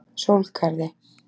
Sólgarði